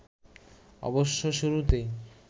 অবশ্য শুরুতেই